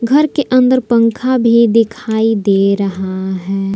घर के अंदर पंखा भी दिखाई दे रहा है।